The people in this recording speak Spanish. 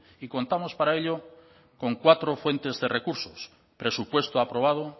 y contamos para ello con cuatro fuentes de recursos presupuesto aprobado